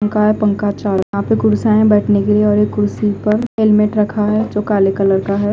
पंखा है पंखा चाव यहा पे कुदसिया है बेठने के लिए और एक कुड्सी पर हेलमेट रखा है जो काले कलर का है।